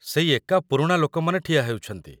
ସେଇ ଏକା ପୁରୁଣା ଲୋକମାନେ ଠିଆ ହେଉଛନ୍ତି ।